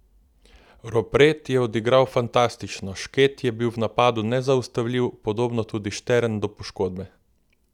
Ropret je odigral fantastično, Šket je bil v napadu nezaustavljiv, podobno tudi Štern do poškodbe.